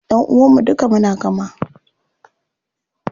Ƴanʼuwan mu duka muna kama.